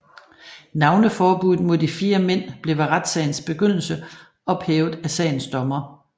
Navneforbuddet mod de fire mænd blev ved retssagens begyndelse ophævet af sagens dommer